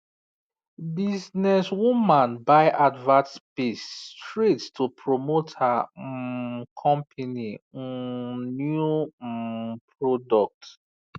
businesswoman buy advert space straight to promote her um company um new um product